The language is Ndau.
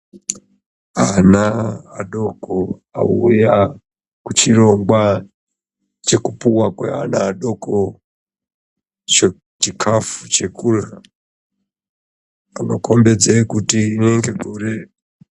Ana adoko auya kuchirongwa chekupuwa kweana adoko chikafu chekurya anokombidze kuti rinenge gore.